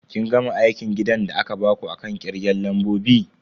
Kin gama aikin gidan da aka baku akan kirgen lambobi?